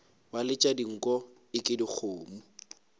ba letša dinko eke dikgomo